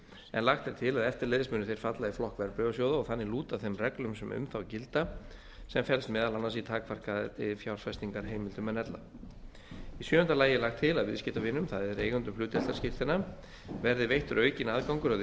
en lagt er til að eftirleiðis muni þeir falla í flokk verðbréfasjóða og þannig lúta þeim reglum sem um þá gilda sem felst meðal annars í takmarkaðri fjárfestingarheimildum en ella í sjöunda lagi er lagt til að viðskiptavinum það er eigendum hlutdeildarskírteina verði veittur aukinn aðgangur að